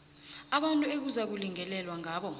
abantu ekuzakulingelelwa ngabo